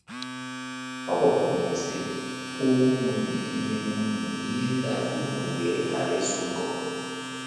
Ọ gbakwụnyere, sị: “ Agwawo m unu ihe m unu ihe ndị a ka unu wee ghara ịsụ ngọngọ.